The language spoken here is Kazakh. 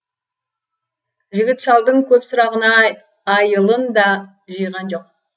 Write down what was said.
жігіт шалдың көп сұрағына айылын да жиған жоқ